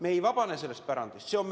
Me ei ole sellest pärandist vabanenud.